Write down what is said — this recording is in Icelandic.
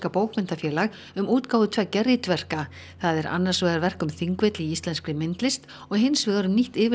bókmenntafélag um útgáfu tveggja ritverka það er annars vegar verk um Þingvelli í íslenskri myndlist og hins vegar um nýtt